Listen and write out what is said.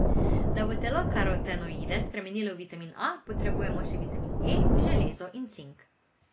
Da bo telo karotenoide spremenilo v vitamin A, potrebujemo še vitamin E, železo in cink.